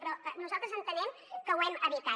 però nosaltres entenem que ho hem evitat